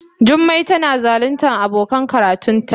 Jummai tana zaluntar abokan karatunta.